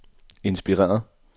inspireret